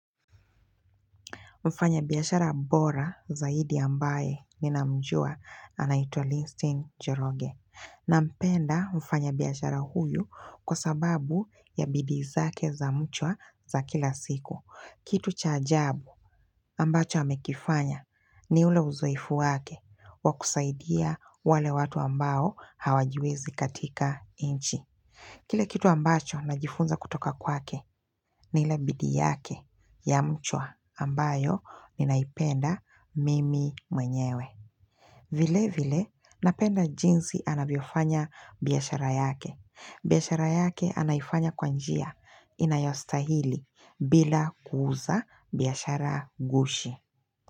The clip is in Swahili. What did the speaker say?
Mfanya biyashara bora zaidi ambaye minamjua anaito Linstein Jorogue. Na mpenda mfanya biyashara huyu kwa sababu ya bidiizake za mchwa za kila siku. Kitu chajabu ambacho amekifanya ni ule uzoefu wake wa kusaidia wale watu ambao hawajiwezi katika inchi. Kile kitu ambacho najifunza kutoka kwake ni ilebidii yake ya mchwa ambayo ninaipenda mimi mwenyewe. Vile vile napenda jinsi anavyofanya biyashara yake. Biyashara yake anaifanya kwanjia inayostahili bila kuuza biyashara gushi.